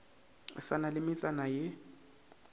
sa na le metsana ye